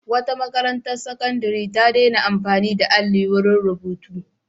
Wata makarantar sakandare ta daina amfani da alli wurin rubutu.